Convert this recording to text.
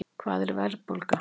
Hvað er verðbólga?